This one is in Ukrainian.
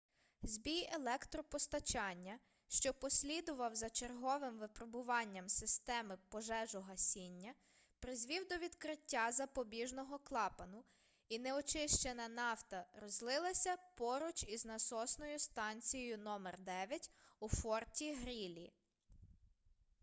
збій електропостачання що послідував за черговим випробуванням системи пожежогасіння призвів до відкриття запобіжного клапану і неочищена нафта розлилася поруч із насосною станцією № 9 у форті-грілі